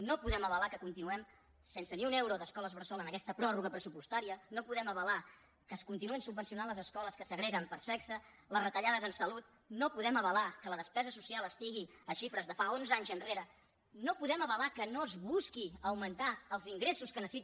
no podem avalar que continuem sense ni un euro d’escoles bressol en aquesta pròrroga pressupostària no podem avalar que es continuïn subvencionant les escoles que segreguen per sexe les retallades en salut no podem avalar que la despesa social estigui a xifres de fa onze anys enrere no podem avalar que no es busqui augmentar els ingressos que necessita